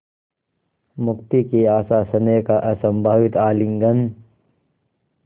मुक्ति की आशास्नेह का असंभावित आलिंगन